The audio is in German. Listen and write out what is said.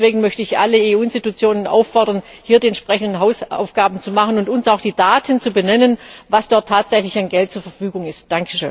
Deswegen möchte ich alle EU Institutionen auffordern, hier die entsprechenden Hausaufgaben zu machen und uns auch die Daten zu benennen, was dort tatsächlich an Geld zur Verfügung steht.